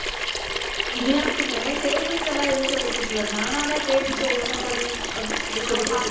இனியாக்குமே, tables எல்லாம் எதுவும் சொல்லிக் கொடுக்கலை. நானாதான் tables ஒவ்வொண்ணும் படி அப்படி சொல்லிக் கொடுத்துட்டு